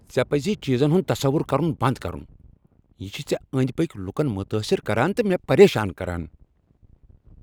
ژے پزی چیزن ہنٛد تصور کرن بنٛد کرن۔ یہ چھ ژے أنٛدۍ پٔکۍ لکن متٲثر کران تہٕ مےٚ پریشان کران۔